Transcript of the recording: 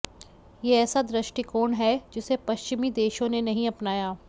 ये ऐसा दृष्टिकोण है जिसे पश्चिमी देशों ने नहीं अपनाया